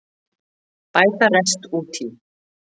Bæta rest út í